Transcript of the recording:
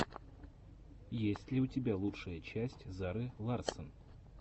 есть ли у тебя лучшая часть зары ларссон